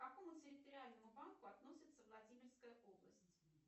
к какому территориальному банку относится владимирская область